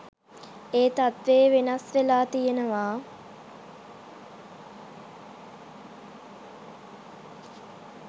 ඒ තත්වේ වෙනස් වෙලා තියනවා